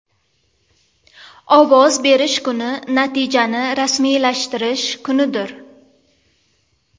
Ovoz berish kuni natijani rasmiylashtirish kunidir.